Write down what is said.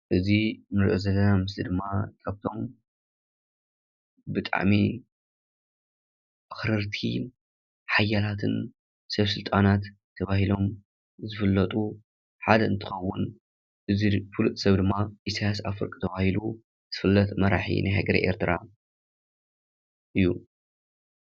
እዚ ንሪኦ ዘለና ምስሊ ድማ ካብቶም ብጣዕሚ ኣክረርቲን ሓያላትን ሰብ ስልጣናት ተባሂሎም ዝፍለጡ ሓደ እንትከዉን እዚ ፍሉጥ ሰብ ድማ ኢሳይያስ ኣፈወርቂ ተባሂሉ ዝፍለጥ መራሒ ናይ ሃገረ ኤርትራ እዩ።